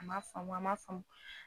A m'a faamu a m'a faamu.